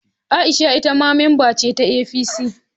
Aisha ita ma mamba ce ta APC